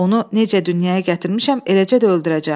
Onu necə dünyaya gətirmişəm, eləcə də öldürəcəm.